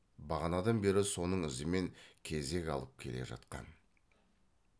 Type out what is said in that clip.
бағанадан бері соның ізімен кезек алып келе жатқан